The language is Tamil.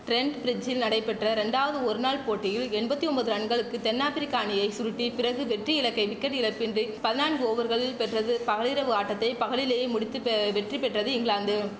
டிரெண்ட் பிரிட்ஜில் நடைபெற்ற ரெண்டாவது ஒரு நாள் போட்டியில் எம்பத்தி ஒம்பது ரன்களுக்கு தென் ஆப்பிரிக்க அணியை சுருட்டி பிறகு வெற்றி இலக்கை விக்கெட் இழப்பின்றி பதினான்கு ஓவர்களில் பெற்றது பகலிரவு ஆட்டத்தை பகலிலேயே முடித்து பே வெற்றி பெற்றது இங்கிலாந்து